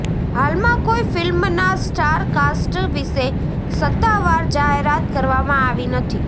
હાલમાં કોઈ ફિલ્મના સ્ટારકાસ્ટ વિશે સત્તાવાર જાહેરાત કરવામાં આવી નથી